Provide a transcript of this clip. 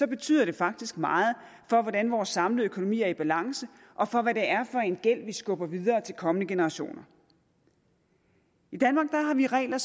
betyder det faktisk meget for hvordan vores samlede økonomi er i balance og for hvad det er for en gæld vi skubber videre til kommende generationer i danmark har vi regler